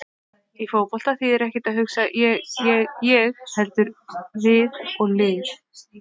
Í fótbolta þýðir ekkert að hugsa ég- ég- ég heldur við og lið.